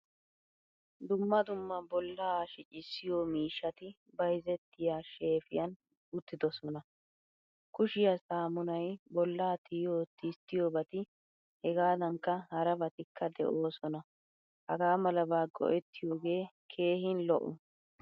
Dumma dumma bolla shiccisiyo miishshati bayzzettiy shefiyan uttidosona. Kushiyaa saamunay, bolla tiyiyo tistiyobati hegadankka harabatikka deosona. Hagaamalaba go'ettiyoge keehin lo'o.